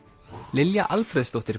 Lilja Alfreðsdóttir